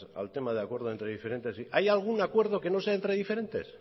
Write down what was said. al tema de acuerdo entre diferentes hay algún acuerdo que no sea entre diferentes